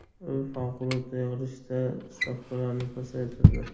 U favqulodda yig‘ilishda stavkalarni pasaytirdi.